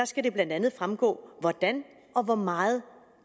skal det blandt andet fremgå hvordan og hvor meget